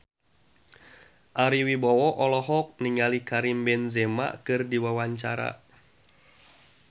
Ari Wibowo olohok ningali Karim Benzema keur diwawancara